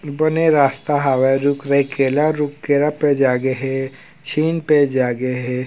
बने रास्ता हावै रुख रेख केरा रुख केरा पेड़ जागे हे झीन पेड़ जागे हे ।